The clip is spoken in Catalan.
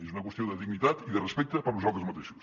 és una qüestió de dignitat i de respecte per nosaltres mateixos